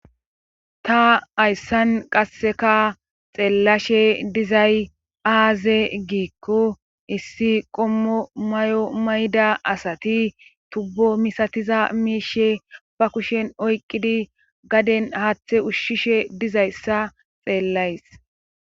ta hayssan qasseka xeellashe dizay aaze giikko issi qommo may7o mayda asati tubbo misatiza miishe ba kushen oyqqidi gaden haathe ushshishe dizayssa xeellays